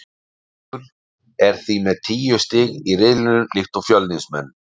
Víkingur er því með tíu stig í riðlinum líkt og Fjölnismenn.